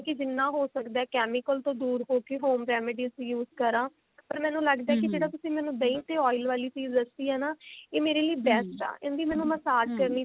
ਕਿ ਜਿੰਨਾ ਹੋ ਸਦਾ chemical ਤੋਂ ਦੂਰ ਹੋਕੇ home remedies use ਕਰਾ ਪਰ ਮੈਨੂੰ ਲੱਗਦਾ ਕੀ ਜਿਹੜਾ ਤੁਸੀ ਮੈਨੂੰ ਦਹੀਂ ਤੇ oil ਵਾਲੀ ਚੀਜ਼ ਦੱਸੀ ਆ ਨਾ ਇਹ ਮੇਰੇ ਲਈ ਇਹ best ਆ ਇਹਦੀ ਮੈਨੂੰ message ਕਰਨੀ ਚਾਹੀਦੀ